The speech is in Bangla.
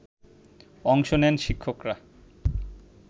অংশ নেন শিক্ষকরা